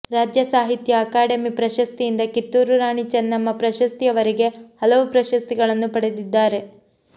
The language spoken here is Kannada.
ರಾಜ್ಯ ಸಾಹಿತ್ಯ ಅಕಾಡೆು ಪ್ರಶಸ್ತಿಯಿಂದ ಕಿತ್ತೂರು ರಾಣಿ ಚೆನ್ನಮ್ಮ ಪ್ರಶಸ್ತಿಯವರೆಗೆ ಹಲವು ಪ್ರಶಸ್ತಿಗಳನ್ನು ಪಡೆದಿದ್ದಾರೆ